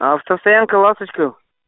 автостоянка ласточка